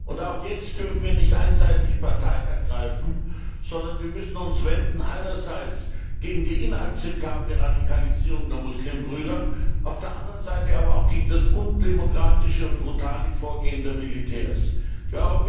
Und jetzt dürfen wir nicht einseitig Partei ergreifen, sondern wir müssen uns einerseits gegen die inakzeptable Radikalisierung der Muslimbrüder, auf der anderen Seite aber auch gegen das undemokratische und brutale Vorgehen der Militärs wenden.